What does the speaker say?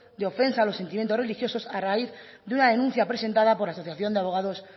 de ofensa a los sentimientos religiosos a raíz de una denuncia presentada por la asociación de abogados